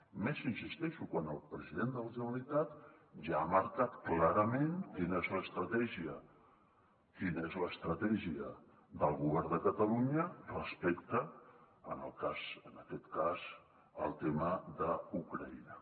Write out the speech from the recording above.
i més hi insisteixo quan el president de la generalitat ja ha marcat clarament quina és l’estratègia del govern de catalunya respecte en aquest cas al tema d’ucraïna